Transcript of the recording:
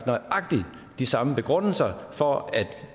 nøjagtig de samme begrundelser for at